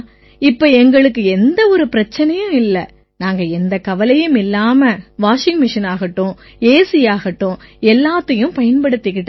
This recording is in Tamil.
இப்ப எங்களுக்கு எந்தவொரு பிரச்சனையும் இல்லை நாங்க எந்தக் கவலையும் இல்லாம பயன்படுத்திக்கலாம் வாஷிங் மெஷினாகட்டும் ஏசியாகட்டும் எல்லாத்தையும் பயன்படுத்திக்கலாம்